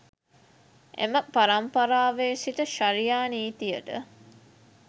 එම පරම්පරාවේ සිට ෂරියා නීතියට